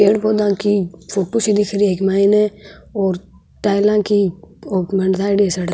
पेड़ पौधा की फोटू सी दिख रही है एक माइन और टाइला की --